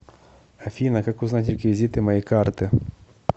афина как узнать реквизиты моей карты